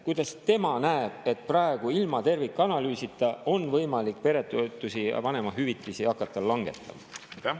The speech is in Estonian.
Kuidas tema näeb seda, et praegu ilma tervikanalüüsita on võimalik peretoetusi ja vanemahüvitisi hakata langetama?